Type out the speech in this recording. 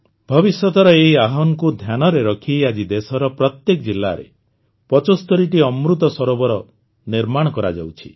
ଭବିଷ୍ୟତର ଏହି ଆହ୍ୱାନକୁ ଧ୍ୟାନରେ ରଖି ଆଜି ଦେଶର ପ୍ରତ୍ୟେକ ଜିଲ୍ଲାରେ ପଚସ୍ତରୀଟି ଅମୃତ ସରୋବର ନିର୍ମାଣ କରାଯାଉଛି